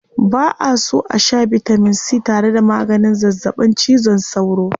Ba'a so a shaa bitamin c tare da maganin zazzaɓin cizon sauro.